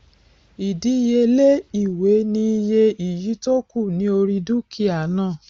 ìdíyelé ìwé ni iye iyì tó kù ní orí dúkìá náà